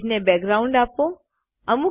આ પેજને બેકગ્રાઉન્ડ આપો